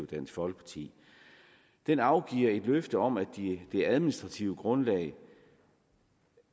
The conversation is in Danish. dansk folkeparti den afgiver et løfte om at det administrative grundlag